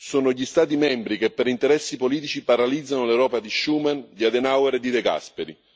Sono gli Stati membri che, per interessi politici, paralizzano l'Europa di Schuman, di Adenauer e di De Gasperi.